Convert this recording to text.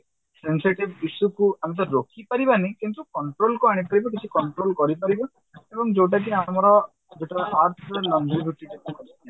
sensitive issue କୁ ଆମେ ରୋକିପାରିବାନି କିନ୍ତୁ control କୁ ଆଣିପାରିବା କିଛି control କରିପାରିବା ଏବଂ ଯଉଟା କି ଆମର ଯେତେବେଳେ କଲେ